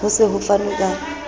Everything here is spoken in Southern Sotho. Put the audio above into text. ho se ho fanwe ka